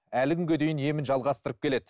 әлі күнге дейін емін жалғастырып келеді